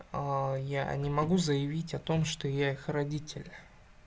я не могу заявить о том что я их родитель